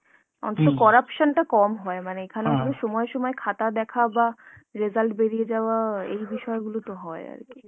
অন্তত corruption টা কম হয়, মানে এখানে সময় সময় খাতা দেখা বা result বেরিয়ে যাওয়া এই বিষয়গুলো তো হয় আর কী।